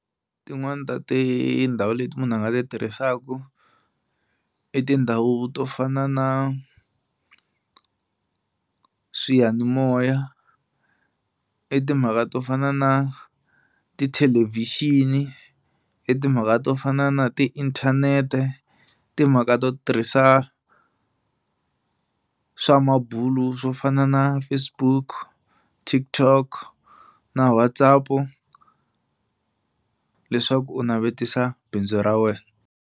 Tin'wani ta tindhawu leti munhu a nga ti tirhisaka i tindhawu to fana na swiyanimoya, i timhaka to fana na tithelevhixini, i timhaka to fana na tiinthanete, timhaka to tirhisa swa mabulo swo fana na Facebook, TikTok na WhatsApp leswaku u navetisa bindzu ra wena.